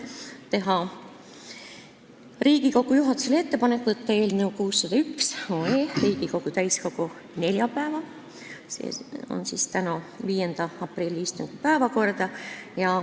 Otsustati teha Riigikogu juhatusele ettepanek võtta eelnõu 601 Riigikogu täiskogu neljapäevase, 5. aprilli istungi päevakorda.